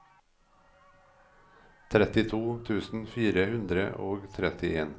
trettito tusen fire hundre og trettien